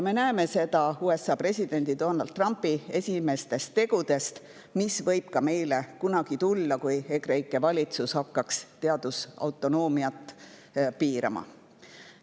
Me näeme seda USA presidendi Donald Trumpi esimestest tegudest, ja see võib ka meile kunagi tulla, kui EKREIKE valitsus hakkaks teadusautonoomiat piirama.